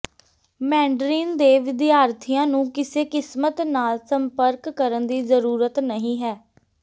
Mandarin ਦੇ ਵਿਦਿਆਰਥੀਆਂ ਨੂੰ ਕਿਸੇ ਕਿਸਮਤ ਨਾਲ ਸੰਪਰਕ ਕਰਨ ਦੀ ਜ਼ਰੂਰਤ ਨਹੀਂ ਹੈ